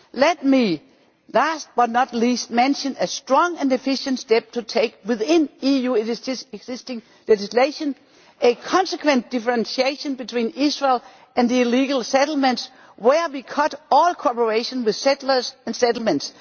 Let me, last but not least, mention a strong and efficient step to take within EU existing legislation a consequent differentiation between Israel and the illegal settlements where we cut all collaboration with settlers and settlements.